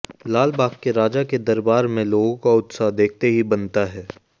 लाल बाग के राजा के दरबार में लोगों का उत्साह देखते ही बनता है